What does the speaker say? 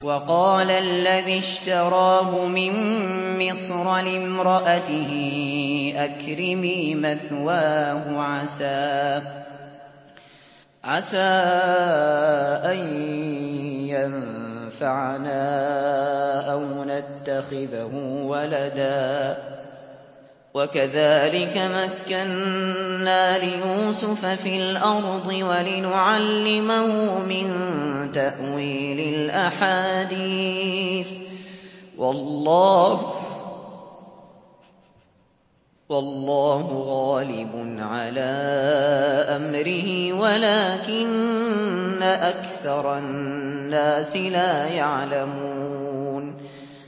وَقَالَ الَّذِي اشْتَرَاهُ مِن مِّصْرَ لِامْرَأَتِهِ أَكْرِمِي مَثْوَاهُ عَسَىٰ أَن يَنفَعَنَا أَوْ نَتَّخِذَهُ وَلَدًا ۚ وَكَذَٰلِكَ مَكَّنَّا لِيُوسُفَ فِي الْأَرْضِ وَلِنُعَلِّمَهُ مِن تَأْوِيلِ الْأَحَادِيثِ ۚ وَاللَّهُ غَالِبٌ عَلَىٰ أَمْرِهِ وَلَٰكِنَّ أَكْثَرَ النَّاسِ لَا يَعْلَمُونَ